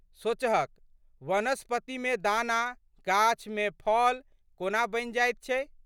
सोचहक, वनस्पत्ति मे दाना, गाछ मे फल कोना बनि जाइत छै?